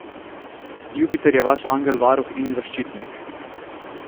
Jupiter je vaš angel varuh in zaščitnik!